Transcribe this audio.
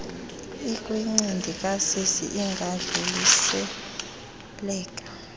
ekwincindi kasisi ingadluliseleka